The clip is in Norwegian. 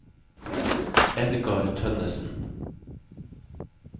Edgar Tønnesen